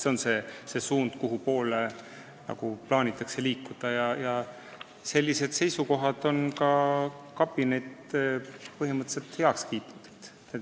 Selles suunas plaanitakse liikuda ja sellised seisukohad on ka meie kabinet põhimõtteliselt heaks kiitnud.